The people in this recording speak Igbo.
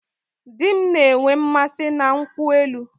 Di m na-enwe mmasị na nkwụ elu